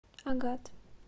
агат